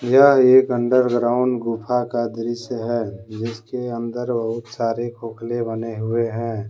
यह एक अंडरग्राउंड गुफा का दृश्य है जिसके अंदर बहुत सारे खोखले बने हुए हैं।